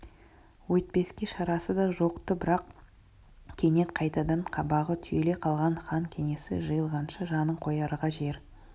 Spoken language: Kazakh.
өйтпеске шарасы да жоқ-ты бірақ кенет қайтадан қабағы түйіле қалған хан кеңесі жиылғанша жанын қоярға жер